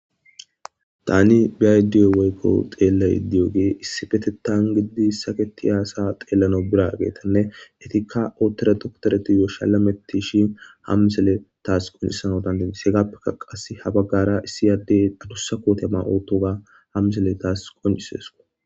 Tani biaydiyo weykko xeellay iddiyoge issifetetan gididi saketi aasa xeellano bira geetanne etikka oottore doktoreti yoo shalametti shin hammisele taas qoncisano dan didis hegappeka qas ha baggara issiyaddey dadussa kootema oottoga hammisele taas qoncises